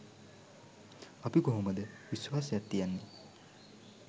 අපි කොහොමද විශ්වාසයක් තියන්නේ